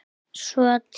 Svo til?